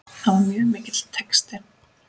Það var mjög mikill texti.